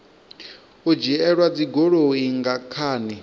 u dzhielwa dzigoloi nga khani